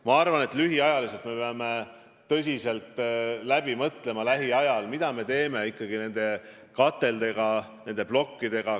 Ma arvan, et me peame lähiajal tõsiselt läbi mõtlema, mida me teeme ikkagi nende kateldega, nende plokkidega.